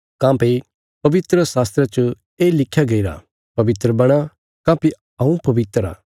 काँह्भई पवित्रशास्त्रा च ये लिख्‍या गईरा पवित्र बणा काँह्भई हऊँ पवित्र आ